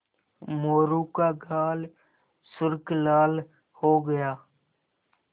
मोरू का गाल सुर्ख लाल हो गया